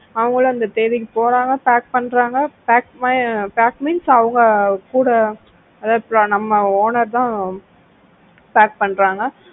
அவங்களும் அந்த தேதிக்கு போறாங்க pack பண்றாங்க pack pack means அவங்க கூட அதாவது நம்ம owner தான் pack பண்றாங்க